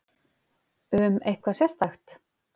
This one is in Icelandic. Um eitthvað sérstakt?